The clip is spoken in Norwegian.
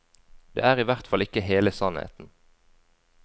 Det er i hvert fall ikke hele sannheten.